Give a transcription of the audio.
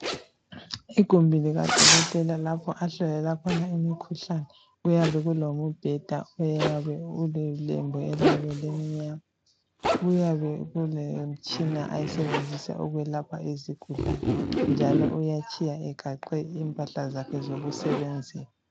Igumbi likadokotela lapho ahlolela khona imikhuhlane. Kuyabe kulombheda oyabe ulelembu eliyabe elimnyama. Kuyabe kulemitshina ayisebenzisa ukwelapha izigulane, njalo uyatshiya egaxe impahla zakhe zokusebenzisa.